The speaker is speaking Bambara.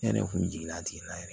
Yani ne kun jiginna a tigi la yɛrɛ